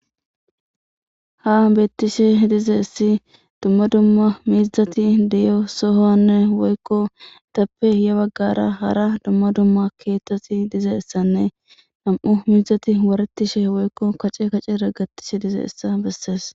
ha bettishe dize essi dumma dumma mizati diyo sohonne woykko itappe ya baggara hara dumma dumma keettati dizeissanne nam7u miizati waretishe woykko kace kacera gattishe dize issa bessees